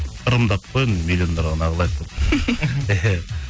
ырымдап қой енді миллиондарға неағылайық деп